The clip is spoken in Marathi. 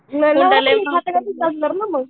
नाही खात्या घरचेच असणार ना मग